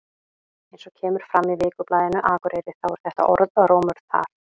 Eins og kemur fram í Vikublaðinu Akureyri þá er þetta orðrómur þar.